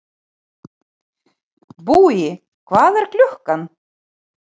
Búi, hvað er klukkan?